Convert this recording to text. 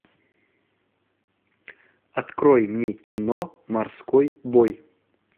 открой мне кино морской бой